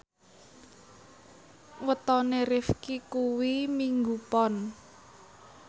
wetone Rifqi kuwi Minggu Pon